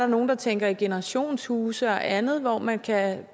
nogle der tænker i generationshuse og andet hvor man kan